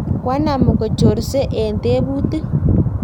koanam kochorsei eng' tebutik